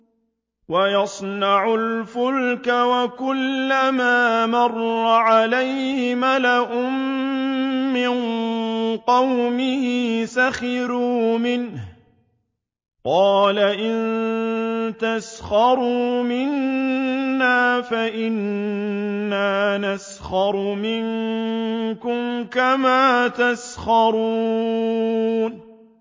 وَيَصْنَعُ الْفُلْكَ وَكُلَّمَا مَرَّ عَلَيْهِ مَلَأٌ مِّن قَوْمِهِ سَخِرُوا مِنْهُ ۚ قَالَ إِن تَسْخَرُوا مِنَّا فَإِنَّا نَسْخَرُ مِنكُمْ كَمَا تَسْخَرُونَ